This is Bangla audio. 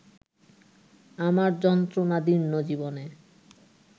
আমার যন্ত্রণাদীর্ণ জীবনে